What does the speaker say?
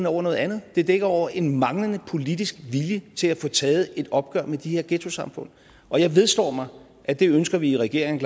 over noget andet det dækker over en manglende politisk vilje til at få taget et opgør med de her ghettosamfund og jeg vedstår mig at det ønsker vi i regeringen